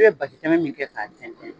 I bɛ basi tɛmɛ min kɛ k'a tɛntɛn